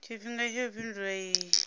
tshifhinga tsha u fhindula iyi